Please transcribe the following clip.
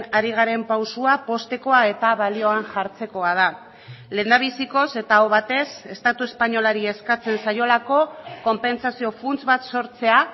ari garen pausoa poztekoa eta balioan jartzekoa da lehendabizikoz eta aho batez estatu espainolari eskatzen zaiolako konpentsazio funts bat sortzea